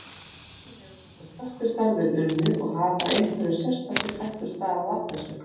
Hvernig hefur þetta slökkvistarf verið unnið og hafa einhverjar sérstakar hættur stafað af þessu?